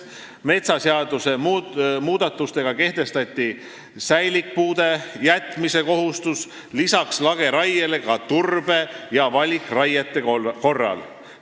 Metsaseaduse muudatustega kehtestati säilikpuude jätmise kohustus lisaks lageraiele ka turbe- ja valikraie korral.